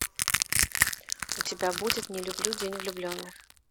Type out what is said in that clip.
у тебя будет не люблю день влюбленных